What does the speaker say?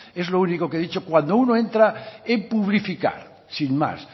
es lo único que he dicho cuando uno entra en publificar sin más